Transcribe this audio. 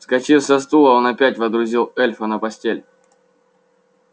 вскочив со стула он опять водрузил эльфа на постель